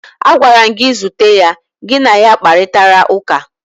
Agwara m gị, zute ya, gị na ya kparịtara ụka!